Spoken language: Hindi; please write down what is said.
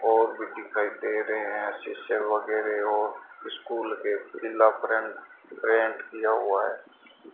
और भी दिखाई दे रहे हैं शीशम वगैरह हो स्कूल के पिला फ्रेंम प्रिंट किया हुआ है।